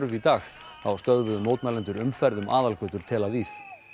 í dag þá stöðvuðu mótmælendur umferð um aðalgötur tel Aviv